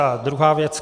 A druhá věc.